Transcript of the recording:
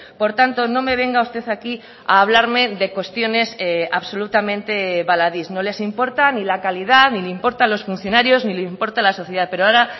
por tanto no me venga usted aquí a hablarme de cuestiones absolutamente baladís no les importa ni la calidad ni le importa los funcionarios ni le importa la sociedad pero ahora